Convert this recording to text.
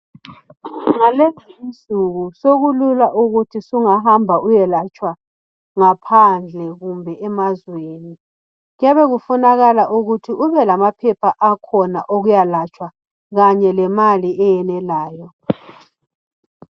Ngalezinsuku sokulula ukuthi sungahamba uyelatshwa ngaphandle kumbe emazweni , kuyabe kufunakala ukuthi ube lamaphepha akhona okuyalatshwa kanye lemali eyenelayo